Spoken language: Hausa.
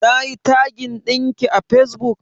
Nayi tagin ɗinki a fesbuk?